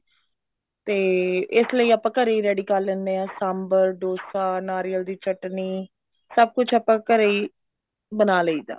ਤੇ ਇਸ ਲਈ ਆਪਾਂ ਘਰੇ ਹੀ ready ਕਰ ਲੈਂਦੇ ਹਾਂ ਸਾਂਬਰ dosa ਨਾਰੀਅਲ ਦੀ ਚਟਨੀ ਸਭ ਕੁੱਛ ਆਪਾਂ ਘਰੇ ਹੀ ਬਣਾ ਲਈਦਾ